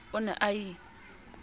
o ne a na ie